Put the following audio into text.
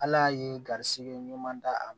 Ala ye garizigɛ ɲuman d'a ma